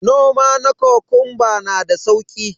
Noma kokunba na da sauki